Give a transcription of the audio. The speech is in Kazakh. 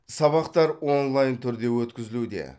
сабақтар онлайн түрде өткізілуде